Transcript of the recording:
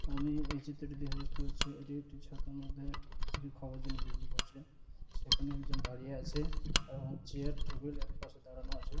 আমি এই চিত্রটিতে দেখে বুঝতে পারছি এটি একটি ছাতার মধ্যে কিছু খাবার জিনিস বিক্রি করছে সেখানে একজন দাড়িয়ে আছেএবং চেয়ার টেবিল এক পাশে দাঁড়ানো আছে।